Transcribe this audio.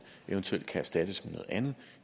eventuelt kan erstattes med noget andet